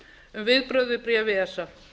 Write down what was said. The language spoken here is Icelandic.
um viðbrögð við bréfi esa